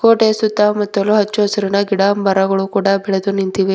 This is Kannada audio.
ಗೋಡೆಯ ಸುತ್ತಮುತ್ತಲು ಹಚ್ಚಹಸುರಿನ ಗಿಡಗಳು ಬೆಳೆದು ನಿಂತಿವೆ.